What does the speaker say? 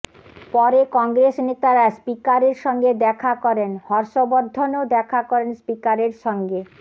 পরে কংগ্রেস নেতারা স্পিকারের সঙ্গে দেখা করেন হর্ষ বর্ধনও দেখা করেন স্পিকারের সঙ্গে